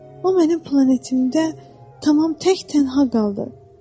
O mənim planetimdə tamam tək-tənha qaldı.